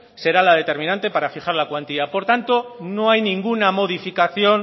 será la determinante para fijar la cuantía por tanto no hay ninguna modificación